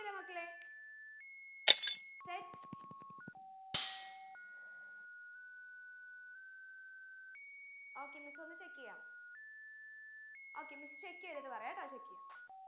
അല്ലേ മക്കളെ set okay miss ഒന്നു check എയ്യാം okay miss check എയ്തിട്ട് പറയാട്ടോ check എയ്യാം